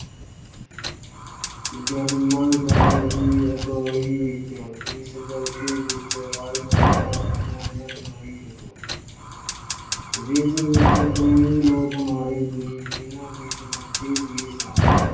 General Dyer ਦੀ ਅਗਵਾਈ ਵਿੱਚ ਇਸ ਜਲਸੇ ਵਿੱਚ ਆਏ ਲੋਕਾਂ ਉੱਪਰ ਗੋਲੀਆਂ ਚਲਾਈ ਗਈਆਂ ਜਿਸ ਵਿੱਚ ਕਈ ਲੋਕ ਮਾਰੇ ਗਏ ਜਿਹਨਾਂ ਵਿੱਚ ਬੱਚੇ ਵੀ ਸਨ।